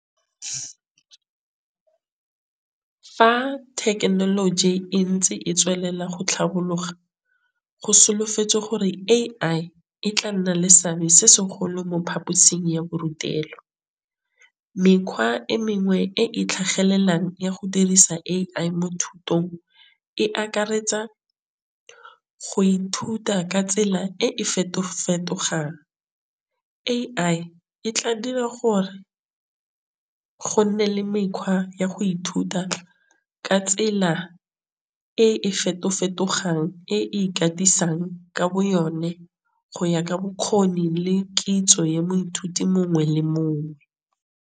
Fa technology e ntse e tswelela go tlhapologa go solofetse gore A_I e tla nna le seabe se segolo mo phaposing ya borutelo. Mekgwa e mengwe e e tlhagelelang ya go dirisa A_I mo thutong e akaretsa go ithuta ka tsela e e feto fetogang. A_I e tla dira gore go nne le mekgwa ya go ithuta ka tsela e e feto fetogang e ikatisang ka bo yone go ya ka bokgoni le kitso ya moithuti mongwe le mongwe.